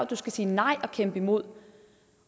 du skal sige nej og kæmpe imod